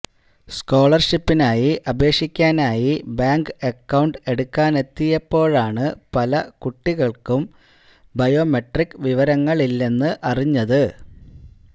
സ്കോളർഷിപ്പിനായി അപേക്ഷിക്കാനായി bank account എടുക്കാനെത്തിയപ്പോഴാണ് പല കുട്ടികളും ബയോമെട്രിക് വിവരങ്ങളില്ലെന്ന് അറിഞ്ഞത്